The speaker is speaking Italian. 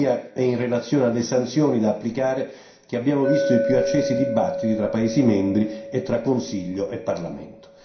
Tuttavia, è in relazione alle sanzioni da applicare che abbiamo visto i più accesi dibattiti fra paesi membri e fra Consiglio e Parlamento.